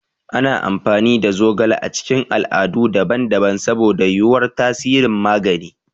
Ana amfani da zogale a cikin al'adu daban-daban saboda yuwuwar tasirin magani.